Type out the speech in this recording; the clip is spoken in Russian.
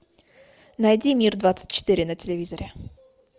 найди мир двадцать четыре на телевизоре